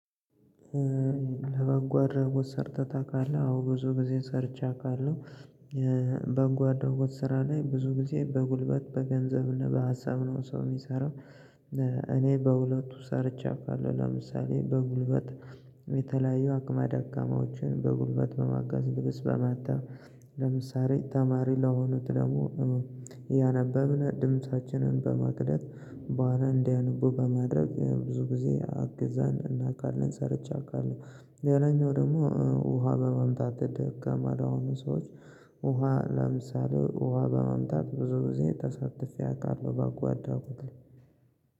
ለበጎ አድራጎት ሰርተህ ታውቃለህ? አዎ ብዙ ጊዜ ሰርቼ አውቃለሁ በጎ አድራጎት ስራ ላይ ብዙ ጊዜ በጉልበት በገንዘብና በሀሳብ ነው ሰው የሚሰራው። እኔ በሁለቱ ሰርቼ አውቃለሁ። ለምሳሌ በጉልበት የተለያዩ አቅመ ደካማዎችን በጉልበት በማገዝ ልብስ በማጠብ ለምሳሌ ተማሪ ለሆኑት ደግሞ እያነበብን ድምፃችንን በመቅዳት በኋላ እንዲያነቡ በማድረግ ብዙ ጊዜ አግዘን እናውቃለን ሰርቼ አውቃለው። ሌላኛው ደግሞ ውሃ በማምጣት ደካማ ለሆኑ ሰዎች ውሃ ለምሳሌ ውሃ በማምጣት ብዙ ጊዜ ተሳትፌ አውቃለሁ በጎ አድራጎት ላይ።